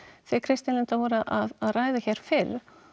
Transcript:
þið Kristín Linda voruð að ræða hér fyrr